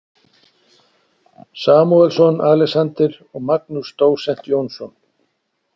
Samúelsson, Alexander og Magnús dósent Jónsson.